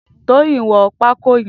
Toyin n wọn pàkó yèn